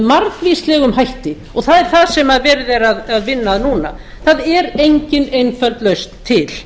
margvíslegum hætti og það er það sem verið er að vinna að núna það er engin einföld lausn til